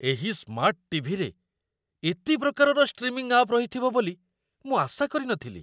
ଏହି ସ୍ମାର୍ଟ ଟି.ଭି.ରେ ଏତେ ପ୍ରକାରର ଷ୍ଟ୍ରିମିଂ ଆପ୍ ରହିଥିବ ବୋଲି ମୁଁ ଆଶା କରିନଥିଲି!